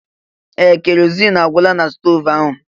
Ee! Keroziin agwụla na stoovu ahụ.